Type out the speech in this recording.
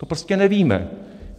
To prostě nevíme.